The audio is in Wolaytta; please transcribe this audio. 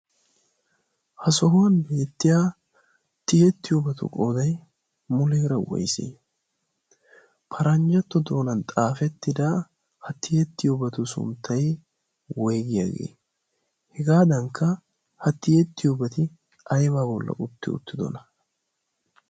ha sohuwan beettiya tiyeettiyoobatu qooday muleera woysi paranjjatto doonan xaafettida hattiyeettiyoobatu sunttai woigiyaagee hegaadankka hatiyeettiyoobati aibaa bolla utti uttidona?